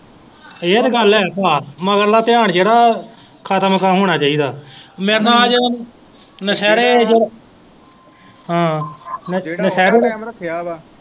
ਇਹ ਤੇ ਗੱਲ ਹੈ ਭਾ ਮਗਰਲਾ ਧਿਆਨ ਜਿਹੜਾ ਹੈ ਖਤਮ ਹੋਣਾ ਚਾਹੀਦਾ ਹੈ ਮੇਰੇ ਨਾਲ ਨਸ਼ਹਿਰੇ ਹਾਂ ਨਸ਼ਹਿਰੇ